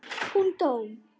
Hún dó!